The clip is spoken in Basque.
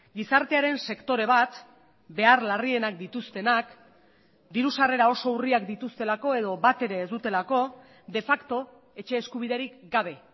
gizartearen sektore bat behar larrienak dituztenak diru sarrera oso urriak dituztelako edo batere ez dutelako de facto etxe eskubiderik gabe